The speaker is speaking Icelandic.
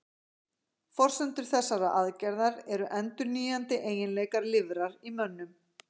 forsendur þessarar aðgerðar eru endurnýjandi eiginleikar lifrar í mönnum